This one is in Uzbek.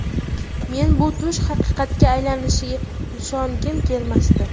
Men bu tush haqiqatga aylanishiga ishongim kelmasdi.